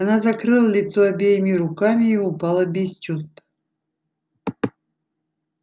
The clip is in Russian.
она закрыла лицо обеими руками и упала без чувств